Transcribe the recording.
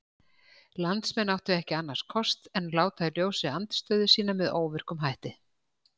Landsmenn áttu ekki annars kost en láta í ljósi andstöðu sína með óvirkum hætti.